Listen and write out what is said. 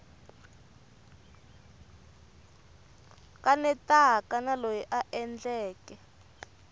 kanetaka na loyi a endleke